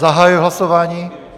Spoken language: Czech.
Zahajuji hlasování.